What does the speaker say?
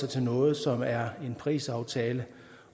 til noget som er en parisaftale